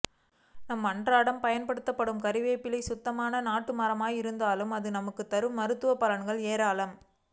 நாம் அண்றாடம் பயண்படுத்தும் கருவேப்பிள்ளை சுத்தமான நாட்டு மரமாக இருந்தால் அது நமக்கு தரும் மருத்துவ பலன்கள் ஏராலம்